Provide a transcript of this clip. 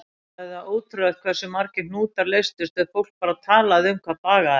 Sagði það ótrúlegt hversu margir hnútar leystust ef fólk bara talaði um hvað bagaði það.